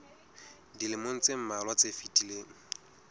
dilemong tse mmalwa tse fetileng